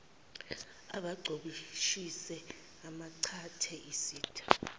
acoboshise acangcathe isitha